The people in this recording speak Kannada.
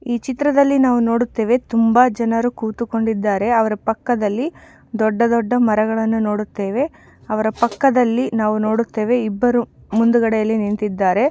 ಈ ಚಿತ್ರದಲ್ಲಿ ನಾವು ನೋಡುತ್ತೇವೆ ತುಂಬಾ ಜನರು ಕೂತುಕೊಂಡಿದ್ದಾರೆ. ಅವರ ಪಕ್ಕದಲ್ಲಿ ದೊಡ್ಡ ದೊಡ್ಡ ಮರಗಳು ಇದೆ ಅವರ ಪಕ್ಕದಲ್ಲಿ ನಾವು ನೋಡುತ್ತೇವೆ ಇಬ್ಬರು ಮುಂದುಗಡೆ ಅಲ್ಲಿ ನಿಂತಿದ್ದಾರೆ.